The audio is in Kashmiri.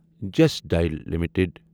just dial limited